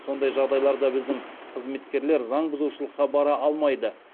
сондай жағдайларда біздің қызметкерлер заңбұзушылыққа бара алмайды